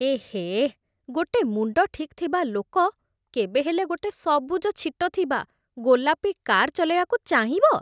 ଏହେ, ଗୋଟେ ମୁଣ୍ଡ ଠିକ୍ ଥିବା ଲୋକ କେବେ ହେଲେ ଗୋଟେ ସବୁଜ ଛିଟ ଥିବା ଗୋଲାପି କାର୍ ଚଲେଇବାକୁ ଚାହିଁବ!